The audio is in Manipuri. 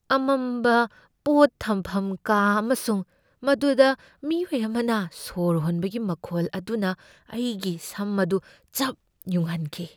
ꯑꯃꯝꯕ ꯄꯣꯠ ꯊꯝꯐꯝ ꯀꯥ ꯑꯃꯁꯨꯡ ꯃꯗꯨꯗ ꯃꯤꯑꯣꯏ ꯑꯃꯅ ꯁꯣꯔ ꯍꯣꯟꯕꯒꯤ ꯃꯈꯣꯜ ꯑꯗꯨꯅ ꯑꯩꯒꯤ ꯁꯝ ꯑꯗꯨ ꯆꯞ ꯌꯨꯡꯍꯟꯈꯤ꯫